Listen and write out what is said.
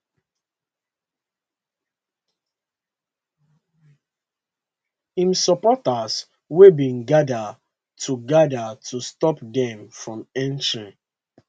im supporters wey bin gada to gada to stop dem from entering